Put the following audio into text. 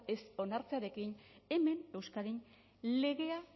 ez onartzearekin hemen euskadin legea